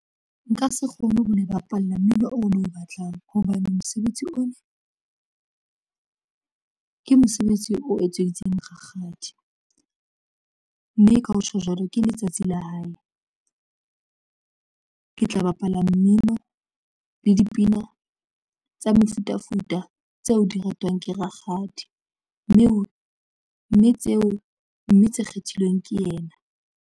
Nka se kgone ho le bapalla mmino o lo batlang hobane mosebetsi ona ke mosebetsi o etseditseng rakgadi mme ka ho tjho jwalo ke letsatsi la hae, ke tla bapala mmino le dipina tsa mefutafuta tseo di ratwang ke rakgadi mme ho mme tseo mme tse kgethilweng ke yena.